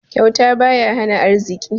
Kyauta baya hana arziki.